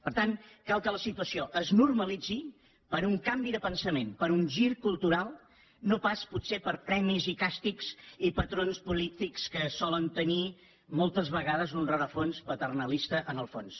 per tant cal que la situació es normalitzi per un canvi de pensament per un gir cultural no pas potser per premis i càstigs i patrons polítics que solen tenir moltes vegades un rerefons paternalista en el fons